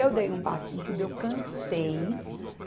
Eu dei um basta em tudo, eu cansei.